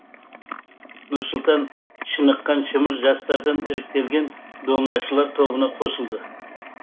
нұрсұлтан шыныққан шымыр жастардан іріктелген домнашылар тобына қосылды